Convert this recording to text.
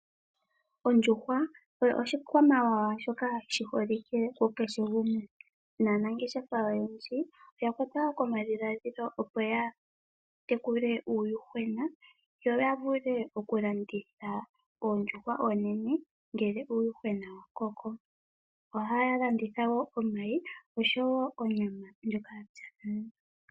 Ondjuhwa oyo oshikwamawawa shoka shi holike ku kehe gumwe, naanangeshesha oya kwatwa komadhiladhilo opo ya tekule uuyuhwena yo ya vule okulanditha oondjuhwa oonene uuna uuyuhwena wa koko. Ohaya landitha wo omayi oshowo onyama ndjoka ya pya nale.